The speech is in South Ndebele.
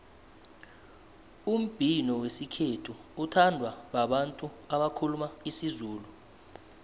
umbhino wesikhethu uthandwa babantu abakhuluma isizulu